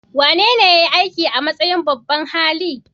Wanene ya yi aiki a matsayin babban hali?